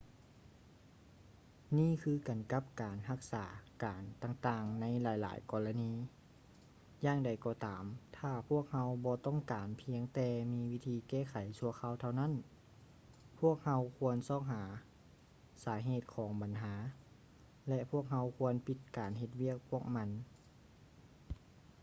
ນີ້ຄືກັນກັບການຮັກສາອາການຕ່າງໆໃນຫຼາຍໆກໍລະນີ ຢ່າງໃດກໍຕາມຖ້າພວກເຮົາບໍ່ຕ້ອງການພຽງແຕ່ວິທີແກ້ໄຂຊົ່ວຄາວເທົ່ານັ້ນ ພວກເຮົາຄວນຊອກຫາສາເຫດຂອງບັນຫາ ແລະ ພວກເຮົາຄວນປິດການເຮັດວຽກພວກມັນ